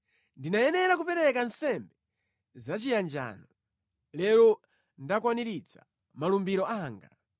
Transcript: “Ndinayenera kupereka nsembe zachiyanjano. Lero ndakwaniritsa malumbiro anga.